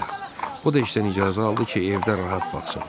O da işdən icazə aldı ki, evdə rahat baxsın.